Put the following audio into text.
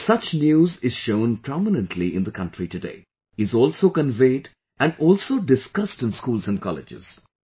And such news is shown prominently in the country today...is also conveyed and also discussed in schools and colleges